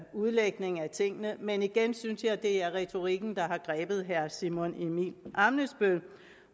udlægning af tingene men igen synes jeg det er retorikken der har grebet herre simon emil ammitzbøll